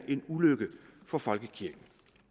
en ulykke for folkekirken